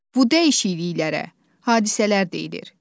Bu dəyişikliklərə hadisələr deyilir.